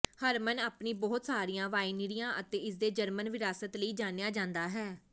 ਹਰਮਨ ਆਪਣੀ ਬਹੁਤ ਸਾਰੀਆਂ ਵਾਈਨਰੀਆਂ ਅਤੇ ਇਸਦੇ ਜਰਮਨ ਵਿਰਾਸਤ ਲਈ ਜਾਣਿਆ ਜਾਂਦਾ ਹੈ